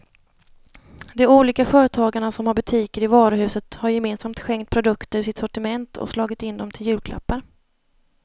De olika företagarna som har butiker i varuhuset har gemensamt skänkt produkter ur sitt sortiment och slagit in dem till julklappar.